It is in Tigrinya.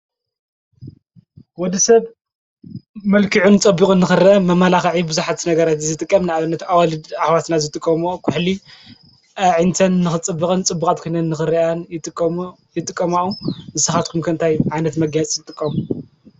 ወድሰብ መልኪዑን ፀቢቁን ንኽርአ መመላኽዒ ቡዙሓት ነገራት ዝጥቀም ንኣብነት:- ኣዋልድ ኣሕዋትና ዝጥቀምኦ ኩሕሊ ኣዒንተን ንኽፅብቅን ፅቡቃት ኮይነን ንኽረኣያን ይጥቀምኦ። ንስኻትኩም ከ እንታይ ዓይነት መጋየፂ ትጥቀሙ?